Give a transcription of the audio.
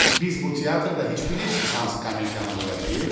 Biz bu teatrda heç bilirsiz hansı komediyanı qoyacağıq?